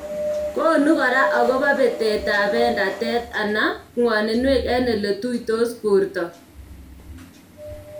Konu kora akobo betet ab bendatet an ngwaninwokik eng oletuitos borto.